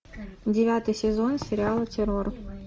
девятый сезон сериала террор